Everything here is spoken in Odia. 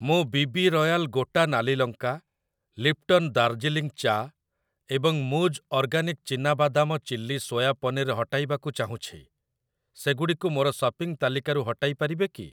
ମୁଁ ବି ବି ରୟାଲ ଗୋଟା ନାଲି ଲଙ୍କା, ଲିପ୍ଟନ ଦାର୍ଜିଲିଂ ଚା ଏବଂ ମୂଜ ଅର୍ଗାନିକ୍‌ ଚିନା ବାଦାମ ଚିଲ୍ଲି ସୋୟା ପନିର୍ ହଟାଇବାକୁ ଚାହୁଁଛି, ସେଗୁଡ଼ିକୁ ମୋର ସପିଂ ତାଲିକାରୁ ହଟାଇ ପାରିବେ କି?